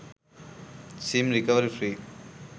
sim recovery free